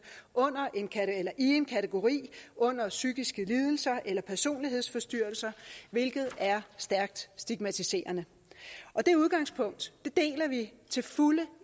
i en kategori under psykiske lidelser eller personlighedsforstyrrelser hvilket er stærkt stigmatiserende det udgangspunkt deler vi til fulde